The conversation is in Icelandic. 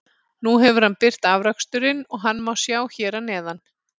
Nú hefur hann birt afraksturinn og hann má sjá hér að neðan.